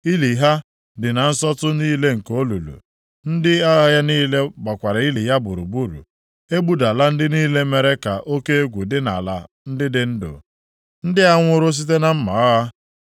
Ili ha dị na nsọtụ niile nke olulu, ndị agha ya niile gbakwara ili ya gburugburu. E gbudala ndị niile mere ka oke egwu dị nʼala ndị dị ndụ. Ndị a nwụrụ site na mma agha.